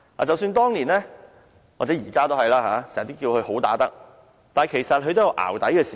即使當年——現在也一樣——大家都叫她"好打得"，但其實她也有"淆底"的時候。